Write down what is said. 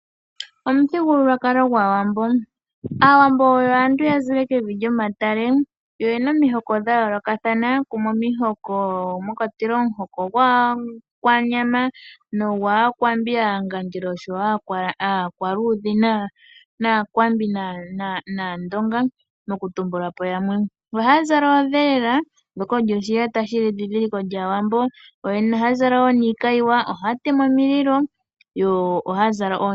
Omuthigululwakalo gwAawambo, Aawambo oyo aantu yazile kevi lyomatale yo eyana omihoko dhayoolokathana kumwe omihoko mwakwatelwa omuhoko gwAakwanyama, nogwAakwambi, Aangandjela nosho wo aakwaludhi nAandonga, okutumbulapo yamwe. Ohaya zala oodhelela shoka osho oshiyata shili edhidhiliko lyAawambo. Yo yene ohaya zala wo niikayiwa, ohaya tema omililo yo ohayazala oonyoka.